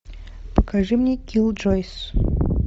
покажи мне киллджойс